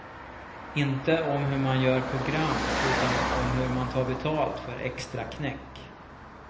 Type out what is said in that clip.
Inte om hur man gör program utan om hur man tar betalt för extraknäck.